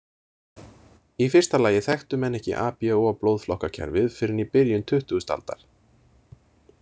Í fyrsta lagi þekktu menn ekki ABO-blóðflokkakerfið fyrr en í byrjun tuttugasta aldar.